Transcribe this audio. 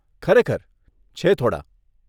ખરેખર, છે થોડાં.